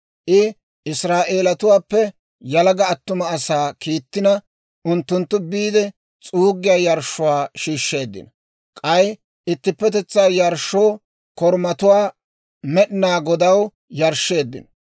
I Israa'eelatuwaappe yalaga attuma asaa kiittina, unttunttu biide s'uuggiyaa yarshshuwaa shiishsheeddino; k'ay ittippetetsaa yarshshoo korumatuwaa Med'inaa Godaw yarshsheeddino.